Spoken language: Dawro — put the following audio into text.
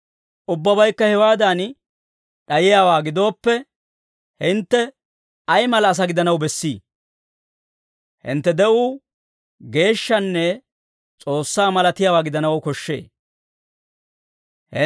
Ubbabaykka hewaadan d'ayiyaawaa gidooppe, hintte ay mala asaa gidanaw bessii? Hintte de'uu geeshshanne S'oossaa malatiyaawaa gidanaw koshshee.